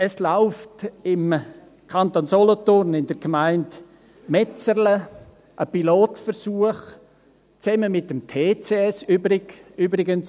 » Es läuft im Kanton Solothurn, in der Gemeinde Metzerlen, ein Pilotversuch, zusammen mit dem TCS – übrigens: